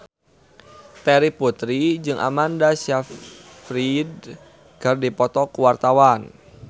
Terry Putri jeung Amanda Sayfried keur dipoto ku wartawan